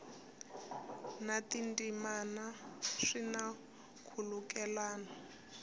na tindzimana swi na nkhulukelano